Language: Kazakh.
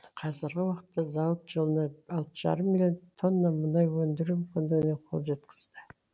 қазіргі уақытта зауыт жылына алты жарым миллион тонна мұнай өндіру мүмкіндігіне қол жеткізді